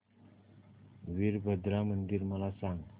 वीरभद्रा मंदिर मला सांग